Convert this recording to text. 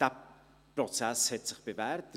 Dieser Prozess hat sich bewährt.